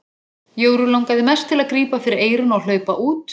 Jóru langaði mest til að grípa fyrir eyrun og hlaupa út.